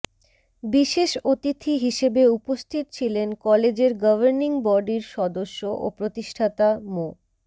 বিশেষ অতিথি হিসেবে উপস্থিত ছিলেন কলেজের গভর্নিং বডির সদস্য ও প্রতিষ্ঠাতা মো